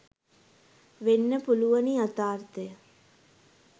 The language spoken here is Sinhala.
වෙන්න පුළුවනි යථාර්ථය.